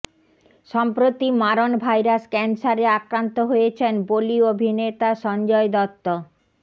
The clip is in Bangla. সম্প্রতি মারণ ভাইরাস ক্যান্সারে আক্রান্ত হয়েছেন বলি অভিনেতা সঞ্জয় দত্ত